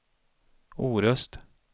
Orust